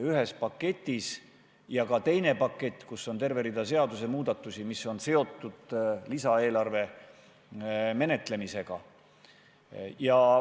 Ja on veel teinegi pakett, milles on terve rida seadusemuudatusi, mis on seotud lisaeelarve menetlemisega.